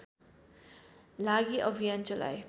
लागि अभियान चलाए